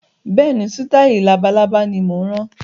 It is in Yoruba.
Bẹ́ẹ̀ni, sitai labalábá ni mo ń rán